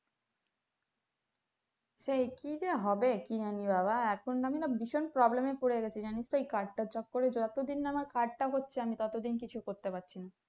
সেই কি যে হবে কি জানি বাবা এখন আমরা ভীষণ problem এ পরে গেছি জানিস তো এই card টার চক্করে যত দিন না আমার card টা হচ্ছে ততদিন কিছু করতে পারছিনা